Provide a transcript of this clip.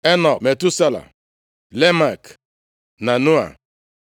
Enọk, Metusela, Lamek, na Noa.